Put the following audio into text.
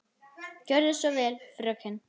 Gerðu svo vel, fröken!